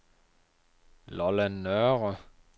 Lolland Nørre